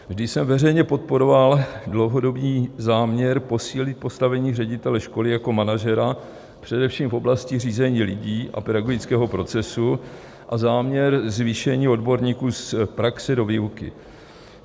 Vždy jsem veřejně podporoval dlouhodobý záměr posílit postavení ředitele školy jako manažera, především v oblasti řízení lidí a pedagogického procesu a záměr zvýšení odborníků z praxe do výuky.